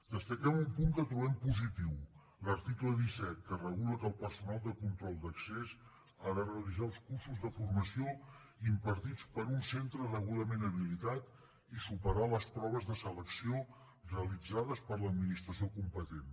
destaquem un punt que trobem positiu l’article disset que regula que el personal de control d’accés ha de realitzar els cursos de formació impartits per un centre degudament habilitat i superar les proves de selecció realitzades per l’administració competent